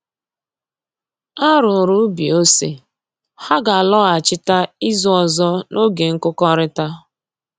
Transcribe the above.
A rụrụ ubi ose, ha ga-alọghachita izu ọzọ n'oge nkụkọrịta